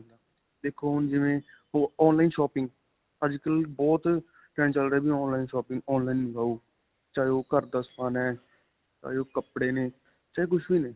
ਦੇਖੋ ਹੁਣ ਜਿਵੇਂ online shopping ਅੱਜਕਲ੍ਹ ਬਹੁਤ trend ਚੱਲ ਰਿਹਾ ਵੀ online shopping online ਮੰਗਵਾਓ ਚਾਹੇ ਉਹ ਘਰ ਦਾ ਸਮਾਨ ਹੈ, ਚਾਹੇ ਉਹ ਕਪੜੇ ਨੇ, ਚਾਹੇ ਕੁੱਝ ਵੀ ਨੇ.